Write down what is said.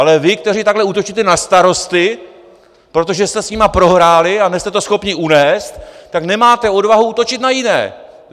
Ale vy, kteří takto útočíte na starosty, protože jste s nimi prohráli a nejste to schopni unést, tak nemáte odvahu útočit na jiné.